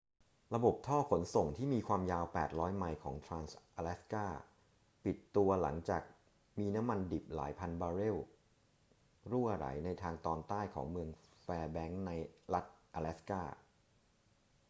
ระบบท่อขนส่งที่มีความยาว 800 ไมล์ของทรานส์-อะแลสกา ปิดตัวหลังจากมีน้ำมันดิบหลายพันบาร์เรลรั่วไหลในทางตอนใต้ของเมืองแฟร์แบงค์ในรัฐอะแลสกา